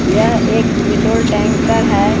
यह एक petrol tanker है।